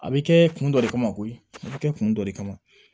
A bɛ kɛ kun dɔ de kama koyi a bɛ kɛ kun dɔ de kama